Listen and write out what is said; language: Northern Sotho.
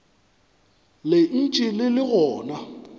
le ntše le le gona